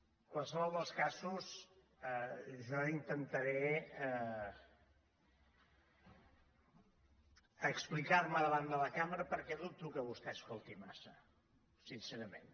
en qualsevol dels casos jo intentaré explicar·me da·vant de la cambra perquè dubto que vostè escolti mas·sa sincerament